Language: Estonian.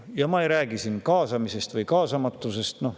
Ja ma ei räägi siin kaasamisest või kaasamatusest.